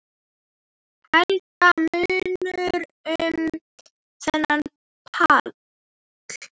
Helga: Munar um þennan pall?